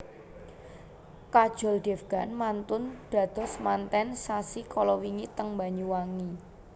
Kajol Devgan mantun dados manten sasi kalawingi teng Banyuwangi